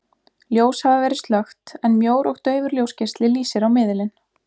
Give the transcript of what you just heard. Ljós hafa verið slökkt, en mjór og daufur ljósgeisli lýsir á miðilinn.